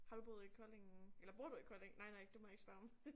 Har du boet i Kolding eller bor du i Kolding nej nej det må jeg ikke spørge om